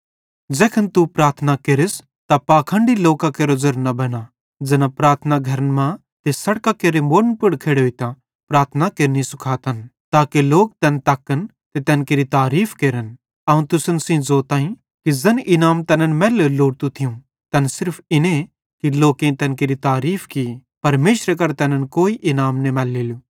ज़ैखन तू प्रार्थना केरस त पाखंडी लोकां केरो ज़ेरो न बेना ज़ैना प्रार्थना घरन मां ते सड़कां केरे मोड़न पुड़ खेड़ोइतां प्रार्थना केरनि सुखातन ताके लोक तैन तक्कन ते तैन केरि तारीफ़ केरन अवं तुसन सेइं ज़ोताईं कि ज़ैन इनाम तैनन् मैल्लोरू लोड़तू थियूं तैन सिर्फ इन्ने कि लोकेईं तैन केरि तारीफ़ की परमेशरे करां तैनन् कोई इनाम न मैलेलू